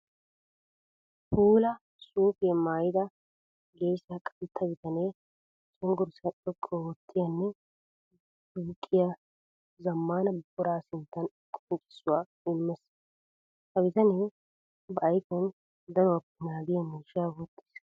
Puula suufiya maayidda geesa qantta bitanne cenggurssa xoqqu oottiyanne duuqqiya zamaana buqura sinttan qonccissuwa imees. Ha bitane ba ayfiyan danuwappe naagiya miishsha wottiis.